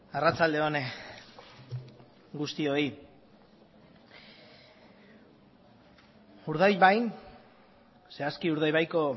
arratsalde on guztioi urdaibain zehazki urdaibaiko